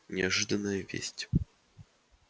неожиданная весть